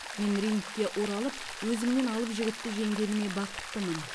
мен рингке оралып өзімнен алып жігітті жеңгеніме бақыттымын